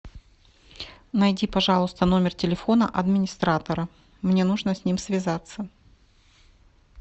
найди пожалуйста номер телефона администратора мне нужно с ним связаться